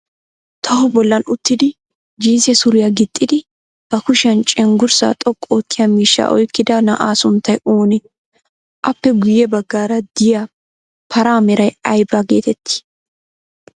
Toho bollan uttidi jinsse suriya gixxidi ba kushiyan cenggurssaa xoqqu oottiya miishshaa oyikkida na'aa sunttay oonee? Appe guyyye baggaara diya paraa meray ayiba geetettii?